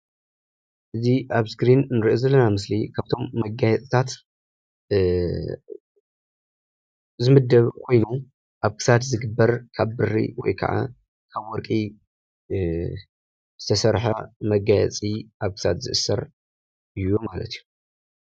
እዚ ኣብ ኣስክሪን ንሪኦ ዘለና ምስሊ ካብቶም መጋየፅታት ዝምደብ ኮይኑ ኣብ ክሳድ ዝግበር ካብ ብሪ ወይ ከዓ ካብ ወርቂ ዝተሰርሐ መጋየፂ ኣብ ክሳድ ዝእሰር እዩ ማለት እዩ።